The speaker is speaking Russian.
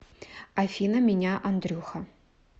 афина меня андрюха